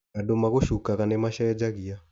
Andũ magũcukaga nĩ macenjagia.